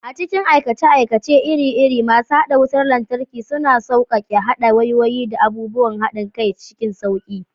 A cikin aikace-aikace iri-iri, masu haɗa wutar lantarki suna sauƙaƙe haɗa wayoyi da abubuwan haɗin kai cikin sauƙi.